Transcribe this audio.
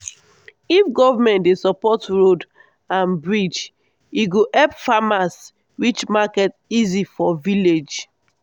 if government dey support road and bridge e go help farmers reach market easy for village.